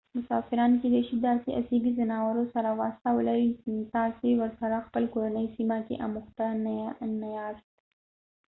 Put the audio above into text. مسافران کېدې شي داسې اسیبي ځناورو سره واسطه ولرئ تاسې ورسره خپله کورنۍ سیمه کې اموخته نه یاست